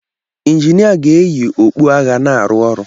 Injinia ga-eyi okpu agha na-arụ ọrụ.